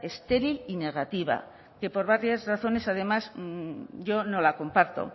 estéril y negativa que por varias razones además yo no la comparto